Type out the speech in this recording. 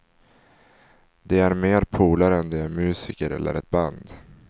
De är mer polare än de är musiker eller ett band.